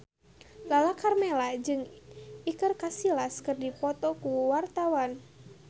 Lala Karmela jeung Iker Casillas keur dipoto ku wartawan